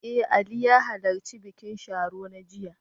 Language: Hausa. Eh, Ali ya halarci bikin Sharo na jiya.